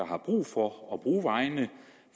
har brug for at bruge vejene